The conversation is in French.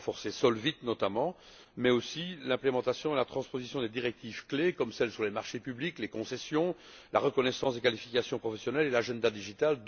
Il faut renforcer Solvit, notamment, mais aussi la mise en œuvre et la transposition des directives clés, comme celles sur les marchés publics, les concessions, la reconnaissance des qualifications professionnelles et l'agenda digital.